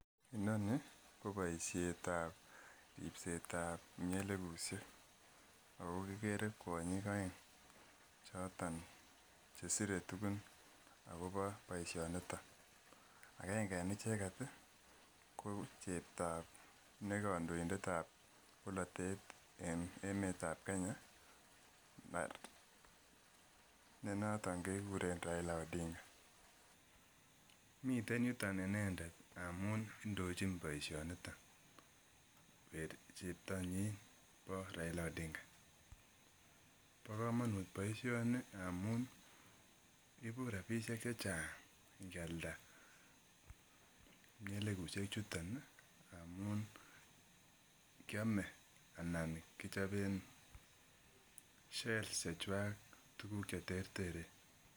Inoni ko boisietab ribsetab imielekushek ako kikere kuonyik aeng choton chesire tugun akobo boisianito agenge en icheket ko cheptab kandoindet nebo polatet en emeetab Kenya ne noton kekuren raila odinga miten yuton inendet ndamun indochin boisionito cheanyin bo raila odinga bo komonuut boisianito amuun ibu rabisiek chechang ingialda mnyelekushek chuton ih ngamun kiame anan kichoben shell chechuak tuguk cheterteren.